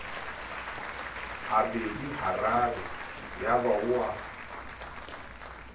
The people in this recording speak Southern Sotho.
habedi hararo yaba o a